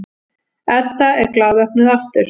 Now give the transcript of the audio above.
Edda er glaðvöknuð aftur.